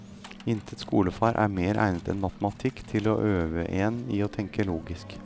Intet skolefag er mer egnet enn matematikk til å øve en i å tenke logisk.